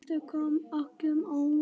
Þetta kom öllum á óvart.